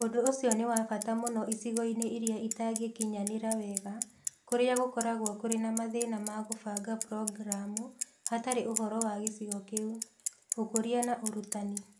Ũndũ ũcio nĩ wa bata mũno icigo-inĩ iria itangĩkinyanĩra wega, kũrĩa gũkoragwo kũrĩ na mathĩna ma kũbanga programu hatarĩ ũhoro wa gĩcigo kĩu. Ũkũria na Ũrutani